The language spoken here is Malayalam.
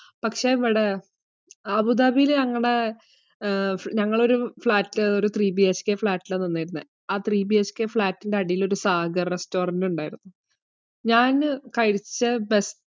പക്ഷെ നമ്മുടെ അബുദാബിയിൽ ഞങ്ങടെ, ഞങ്ങൾ ഒരു three BHK falt ആയിരുന്നു നിന്നിരുന്നേ. ആ three BHK flat ഇന്റെ അടിയിൽ ഒരു സാഗർ restaurant ഉണ്ടായിരുന്നു. ഞാൻ കഴിച്ചേ best